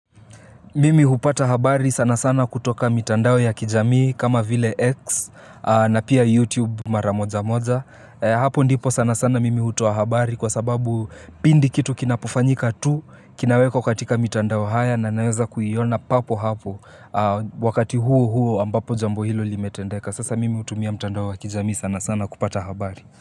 Mimi hupata habari sana sana kutoka mitandao ya kijamii kama vile X na pia YouTube maramoja moja. Hapo ndipo sana sana mimi hutoa habari kwa sababu pindi kitu kinapofanyika tu, kinawekwa katika mitandao haya na naweza kuiona papo hapo wakati huo huo ambapo jambo hilo limetendeka. Sasa mimi hutumia mtandao ya kijamii sana sana kupata habari.